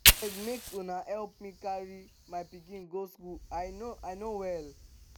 abeg make una help me carry my pikin go school i no i no well